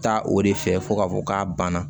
Taa o de fɛ fo ka fɔ k'a banna